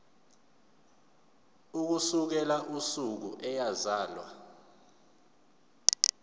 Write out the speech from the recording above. ukusukela usuku eyazalwa